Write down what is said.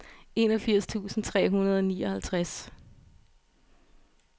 enogfirs tusind tre hundrede og nioghalvtreds